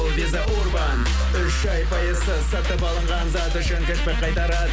виза урбан үш ай пайысыз сатып алынған зат үшін кірпі қайтарады